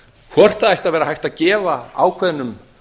hvort það ætti að vera hægt að gefa ákveðnum